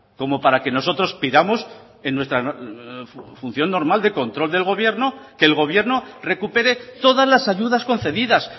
como para que nosotros pidamos en nuestra función normal de control del gobierno que el gobierno recupere todas las ayudas concedidas